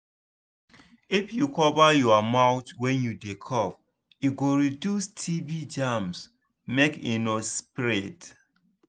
if you cover your mouth wen you dey cough e go reduce tb germs make e no spread